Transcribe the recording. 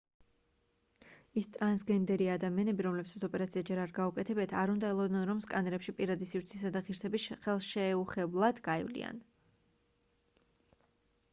ის ტრანსგენერი ადამიანები რომლებსაც ოპერაცია ჯერ არ გაუკეთებიათ არ უნდა ელოდონ რომ სკანერებში პირადი სივრცისა და ღირსების ხელშეუხლებლად გაივლიან